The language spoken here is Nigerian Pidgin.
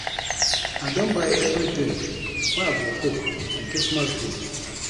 I don buy everything wey I go cook on Christmas day